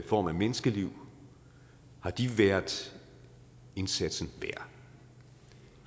form af menneskeliv været indsatsen værd